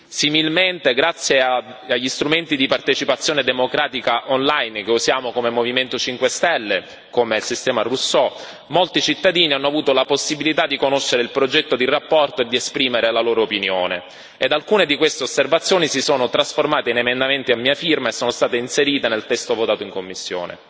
Similmente, grazie agli strumenti di partecipazione democratica on line che usiamo come Movimento 5 Stelle, come il sistema Rousseau, molti cittadini hanno avuto la possibilità di conoscere il progetto di relazione e di esprimere la loro opinione ed alcune di queste osservazioni si sono trasformate in emendamenti a mia firma e sono state inserite nel testo votato in commissione.